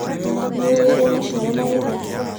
Nĩũĩ ũrĩa maciaro magethagwo.